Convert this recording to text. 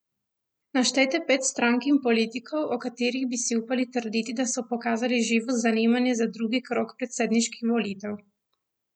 Naštejte pet strank in politikov, o katerih bi si upali trditi, da so pokazali živo zanimanje za drugi krog predsedniških volitev!